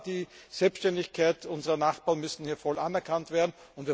Aber die Selbständigkeit unserer Nachbarn muss hier voll anerkannt werden.